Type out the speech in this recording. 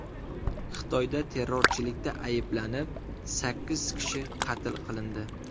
Xitoyda terrorchilikda ayblanib, sakkiz kishi qatl qilindi.